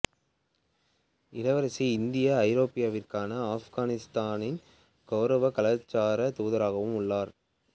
இளவரசி இந்தியா ஐரோப்பாவிற்கான ஆப்கானிஸ்தானின் கௌரவ கலாச்சார தூதராகவும் உள்ளார்